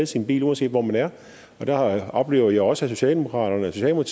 sin bil uanset hvor man er der oplever jeg også at socialdemokratiet